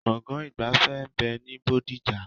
Gbọ̀ngán ìgbafẹ́ ń bẹ ní bodija